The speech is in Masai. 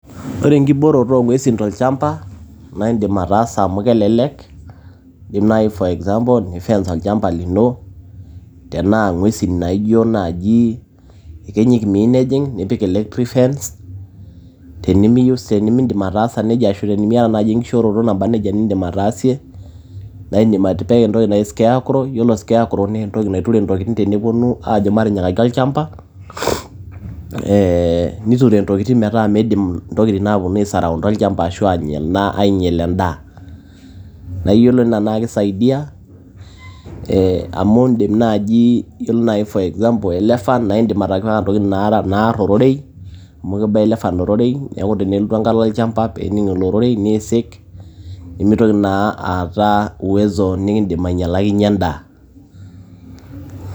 ore enkibooroto oongwesin tolchamba naa indim ataasa amu kelelek ,indim naji for example ni fence olchamba lino tnaa ngwesin naijo naji iyekenyik nipik electric fence tenimiyieu ashu tenimidim ataasa nejia ashu tenimiata naji enkishooroto naba nejia nindim ataasie naa indim atipika entoki naji scarecrow ore scarecrow naa entoki naiture intokitin teneponu ajo matinyikaki olchamba ee niture intokin metaa min`dim ntokin aponu aesaraounda olchamba ashu anya endaa ainyal endaa naa iyiolo naa kisaidia amu indim naji for example elephant naa indim atipika ntokitin naar ororei amu kiba elephant ororei tiaku tenelotu embata olchamba nisik nimitoki naa aata uwezo nikindim ainyalakinyie endaa.